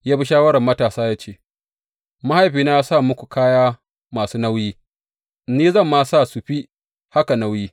Ya bi shawarar matasa, ya ce, Mahaifina ya sa muku kaya masu nauyi; ni zan ma sa su fi haka nauyi.